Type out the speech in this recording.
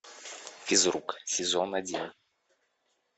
физрук сезон один